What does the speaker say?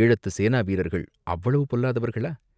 "ஈழத்துச் சேனாவீரர்கள் அவ்வளவு பொல்லாதவர்களா?